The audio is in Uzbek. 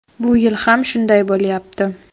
Bu yil ham shunday bo‘lyapti”.